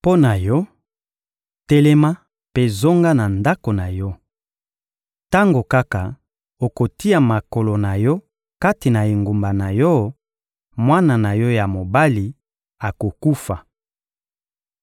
Mpo na yo, telema mpe zonga na ndako na yo. Tango kaka okotia makolo na yo kati na engumba na yo, mwana na yo ya mobali akokufa.